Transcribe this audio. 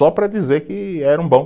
Só para dizer que eram bom.